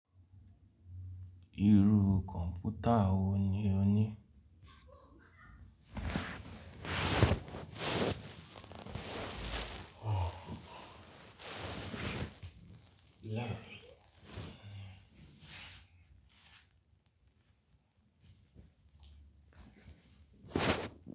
Irú kọ̀npútà wo ni o ní?